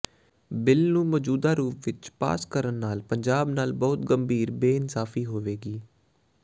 bill ਨੂੰ ਮੌਜੂਦਾ ਰੂਪ ਵਿਚ ਪਾਸ ਕਰਨ ਨਾਲ ਪੰਜਾਬ ਨਾਲ ਬਹੁਤ ਗੰਭੀਰ ਬੇਇਨਸਾਫੀ ਹੋਵੇਗੀ